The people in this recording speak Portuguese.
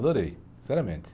Adorei, sinceramente.